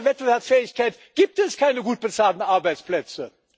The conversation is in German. Ohne Wettbewerbsfähigkeit gibt es keine gut bezahlten Arbeitsplätze.